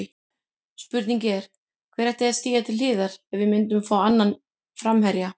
Spurningin er, hver ætti að stíga til hliðar ef við myndum fá annan framherja?